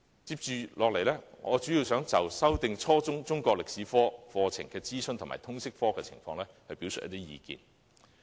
接下來，我主要想就修訂初中中國歷史科課程的諮詢及通識科的情況，表達意見。